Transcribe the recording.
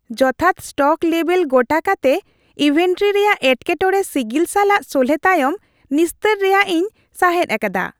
ᱡᱚᱛᱷᱟᱛ ᱥᱴᱚᱠ ᱞᱮᱵᱷᱮᱞ ᱜᱚᱴᱟ ᱠᱟᱛᱮ ᱤᱱᱵᱷᱮᱱᱴᱨᱤ ᱨᱮᱭᱟᱜ ᱮᱴᱠᱮᱴᱚᱬᱮ ᱥᱤᱜᱤᱞ ᱥᱟᱞᱟᱜ ᱥᱚᱞᱦᱮ ᱛᱟᱭᱚᱢ ᱱᱤᱥᱛᱟᱹᱨ ᱨᱮᱭᱟᱜ ᱤᱧ ᱥᱟᱸᱦᱮᱫᱽ ᱟᱠᱟᱫᱟ ᱾